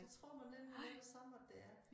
Det tror man nemlig med det samme at det er